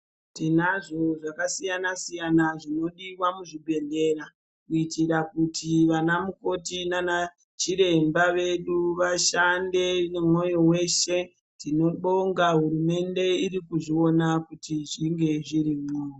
Tinazvo zvakasiyana siyana zvinodiwa muzbibhedhlera kuitira kuti vana mukoti nanachiremba vedu vashande nemwoyo weshe. Tinobonga hurumende iri kuzviona kuti zvinge zvirimwo.